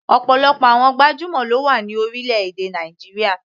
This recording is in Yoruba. Ọ̀pọ̀lọpọ̀ àwọn gbajúmọ̀ ló wà ní orílẹ̀-èdè Nàìjíríà.